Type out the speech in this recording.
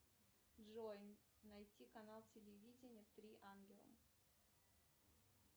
джой найти канал телевидения три ангела